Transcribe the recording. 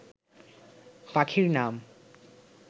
পাখির নাম